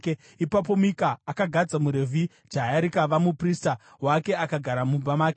Ipapo Mika akagadza muRevhi, jaya rikava muprista wake akagara mumba make.